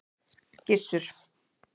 Gissur